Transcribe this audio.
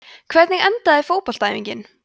hvernig endaði fótboltaæfingin